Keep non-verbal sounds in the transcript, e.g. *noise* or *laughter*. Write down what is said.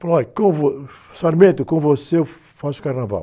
Falou, olha, com vo, *unintelligible* com você eu faço o carnaval.